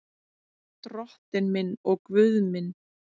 Drottinn minn og Guð minn.